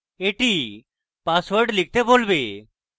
এটি পাসওয়ার্ড লিখতে বলবে